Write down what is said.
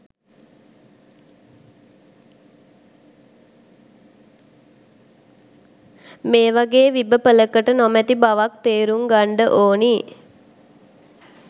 මේ වගේ විබපළකට නොමැති බවත් තේරුම් ගන්ඩ ඕනේ